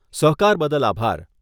સહકાર બદલ આભાર.